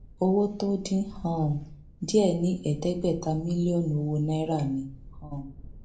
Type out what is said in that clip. owó tó dín um díẹ ní ẹẹdẹgbẹta mílíọnù owó náírà ni um